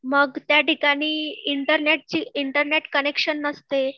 मग त्या ठिकाणी इंटरनेट ची, इंटरनेट कॅनेक्शन नसते